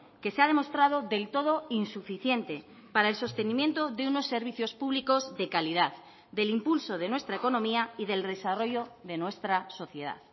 que se ha demostrado del todo insuficiente para el sostenimiento de unos servicios públicos de calidad del impulso de nuestra economía y del desarrollo de nuestra sociedad